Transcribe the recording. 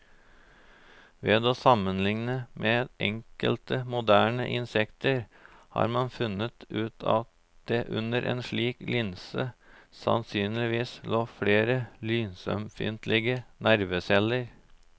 Ved å sammenligne med enkelte moderne insekter har man funnet ut at det under en slik linse sannsynligvis lå flere lysømfintlige nerveceller.